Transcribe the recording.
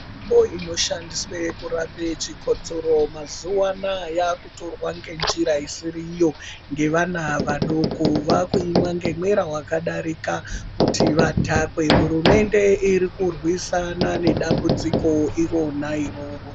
Mitombo inoshandiswe kurape chikotsoro mazuwa anaya yakutorwa ngenjira isiriyo ngevana vadoko vaakuimwa ngemwera wakadarika kuti vadhakwe hurumende irikurwisana nedambudziko irona iroro.